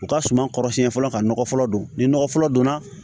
U ka suma kɔrɔ siɲɛ fɔlɔ ka nɔgɔ fɔlɔ don ni nɔgɔ fɔlɔ donna